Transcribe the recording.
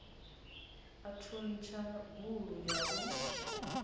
u thuntsha gulu ya u